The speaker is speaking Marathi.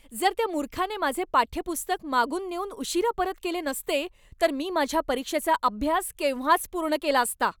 जर त्या मूर्खाने माझे पाठ्यपुस्तक मागून नेऊन उशिरा परत केले नसते तर मी माझ्या परीक्षेचा अभ्यास केव्हाच पूर्ण केला असता.